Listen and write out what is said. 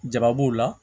Jaba b'o la